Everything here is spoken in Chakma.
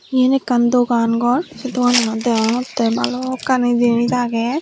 eyan ekan dogan gor seh degananot degongte balukani jenij aage.